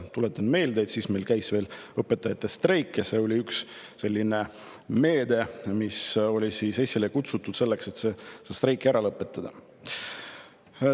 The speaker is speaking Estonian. Tuletan meelde, et siis käis meil veel õpetajate streik ja see lepe oli üks selline meede, mis oli esile kutsutud selleks, et streiki ära lõpetada.